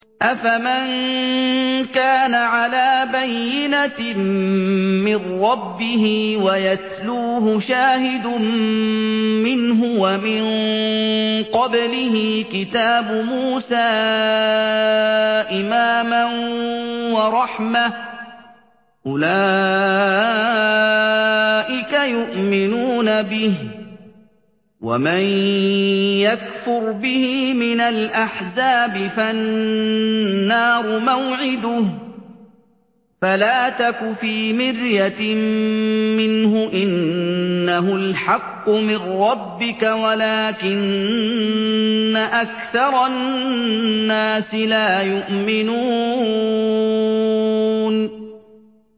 أَفَمَن كَانَ عَلَىٰ بَيِّنَةٍ مِّن رَّبِّهِ وَيَتْلُوهُ شَاهِدٌ مِّنْهُ وَمِن قَبْلِهِ كِتَابُ مُوسَىٰ إِمَامًا وَرَحْمَةً ۚ أُولَٰئِكَ يُؤْمِنُونَ بِهِ ۚ وَمَن يَكْفُرْ بِهِ مِنَ الْأَحْزَابِ فَالنَّارُ مَوْعِدُهُ ۚ فَلَا تَكُ فِي مِرْيَةٍ مِّنْهُ ۚ إِنَّهُ الْحَقُّ مِن رَّبِّكَ وَلَٰكِنَّ أَكْثَرَ النَّاسِ لَا يُؤْمِنُونَ